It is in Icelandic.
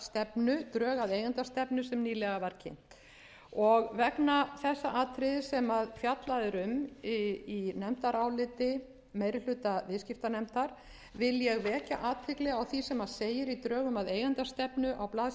að eigendastefnu sem nýlega var kynnt og vegna þess atriðis sem fjallað er um í nefndaráliti meiri hluta viðskiptanefndar vil ég vekja athygli á því sem segir í drögum að eigendastefnu á blaðsíðu